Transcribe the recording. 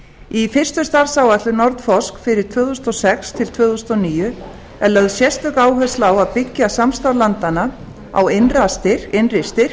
í fyrstu starfsáætlun nordforsk fyrir tvö þúsund og sex til tvö þúsund og níu er lögð sérstök áhersla á að byggja samstarf landanna á innri styrk